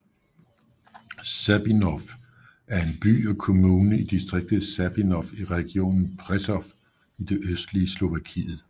Sabinov er en by og kommune i distriktet Sabinov i regionen Prešov i det østlige Slovakiet